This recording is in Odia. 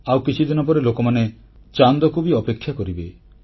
ଆଉ କିଛିଦିନ ପରେ ଲୋକମାନେ ଚାନ୍ଦକୁ ବି ଅପେକ୍ଷା କରିବେ